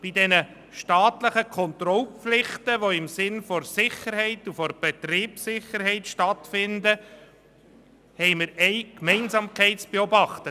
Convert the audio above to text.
Aber bei all den staatlichen Kontrollpflichten, die im Sinne der Sicherheit und der Betriebssicherheit stattfinden, können wir eine Gemeinsamkeit beobachten.